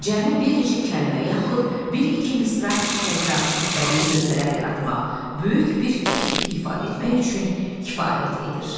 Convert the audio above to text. Cəmi bir neçə kəlmə, yaxud bir-iki misra təkrarssız bədii lövhələr yaratmaq, böyük bir fikir ifadə etmək üçün kifayət edir.